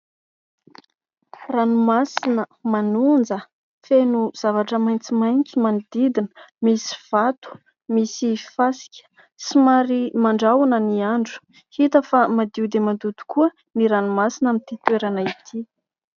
Ranomasina manonja, feno zavatra maitsomaitso manodidina. Misy vato, misy fasika, somary mandrahona ny andro. Hita fa madio dia madio koa ny ranomasina amin'ity toerana ity.